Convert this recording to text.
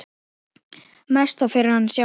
Mest þó fyrir hana sjálfa.